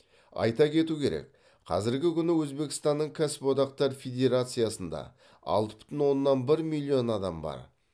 айта кету керек қ азіргі күні өзбекстанның кәсіподақтар федерациясында алты бүтін оннан бір миллион адам бар